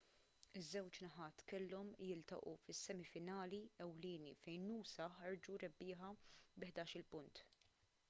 iż-żewġ naħat kellhom jiltaqgħu fis-semi finali ewlieni fejn noosa ħarġu rebbieħa bi 11-il punt